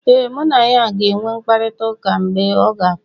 ee, mụ na ya ga-enwe mkparịta ụka mgbe ọ ga kpọ